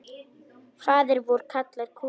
Faðir vor kallar kútinn.